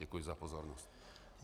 Děkuji za pozornost.